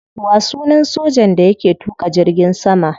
Wa sunan sojan da yake tuka jirgin sama?